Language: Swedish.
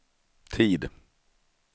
tid